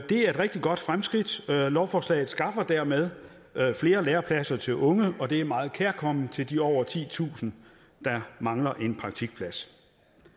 er et rigtig godt fremskridt lovforslaget skaffer dermed flere lærepladser til unge og det er meget kærkomment til de over titusind der mangler en praktikplads